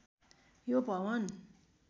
यो भवन